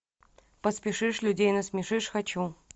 поспешишь людей насмешишь хочу